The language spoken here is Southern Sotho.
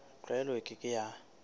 tlwaelo e ke ke ya